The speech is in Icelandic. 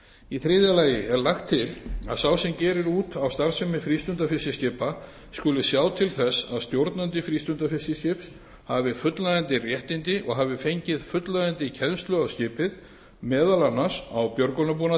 í þriðja lagi er lagt til að sá sem gerir út á starfsemi frístundafiskiskipa skuli sjá til þess að stjórnandi frístundafiskiskips hafi fullnægjandi réttindi og hafi fengið fullnægjandi kennslu á skipið meðal annars á björgunarbúnað